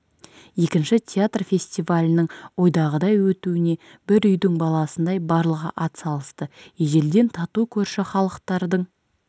екінші театр фестивалінің ойдағыдай өтуіне бір үйдің баласындай барлығы ат салысты ежелден тату көрші халықтардың